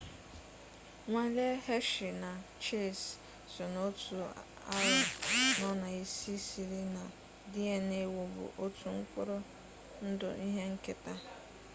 nwale hershey na chase so na otu aro no na isi siri na dna wubu otu mkpụrụ ndụ ihe nketa